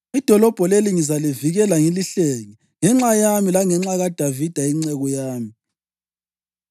Idolobho leli ngizalivikela ngilihlenge, ngenxa yami langenxa kaDavida inceku yami.’ ”